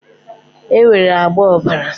Enwere agba ọ̀bàrà